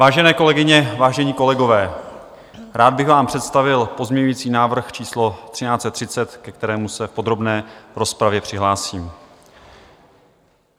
Vážené kolegyně, vážení kolegové, rád bych vám představil pozměňující návrh číslo 1330, ke kterému se v podrobné rozpravě přihlásím.